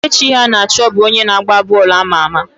Kelechi Iheanacho bụ onye na agba bọọlụ ama ama.